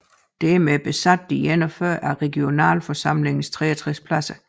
Dermed besatte de 41 af regionalforsamlingens 63 pladser